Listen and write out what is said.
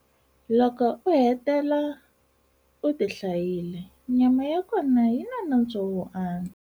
Loko u hetela u ti hlayile, nyama ya kona yi na nantswo wo antswa.